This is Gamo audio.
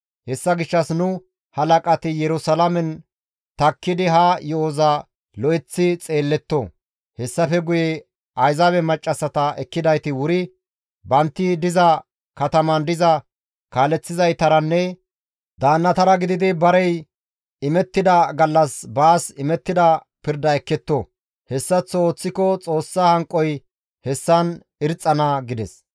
Hessa gishshas nu halaqati Yerusalaamen takkidi ha yo7oza lo7eththi xeelletto; hessafe guye Ayzaabe maccassata ekkidayti wuri bantti diza kataman diza kaaleththizaytaranne daannatara gididi barey imettida gallas baas imettida pirda ekketto; hessaththo ooththiko Xoossa hanqoy hessan irxxana» gides.